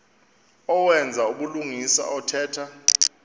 owenza ubulungisa othetha